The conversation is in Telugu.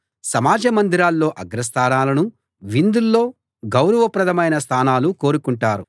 సమాజ మందిరాల్లో అగ్రస్థానాలను విందుల్లో గౌరవప్రదమైన స్థానాలను కోరుకుంటారు